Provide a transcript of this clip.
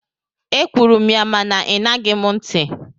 Ekwuru m ya mana ị ṅaghị m ntị.